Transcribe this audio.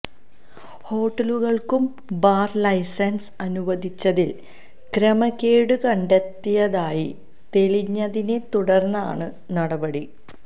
ഹോട്ടലുകൾക്കു bar licence അനുവദിച്ചതിൽ ക്രമക്കേടു കണ്ടെത്തിയതായി തെളിഞ്ഞതിനെ തുടർന്നാണു നടപടി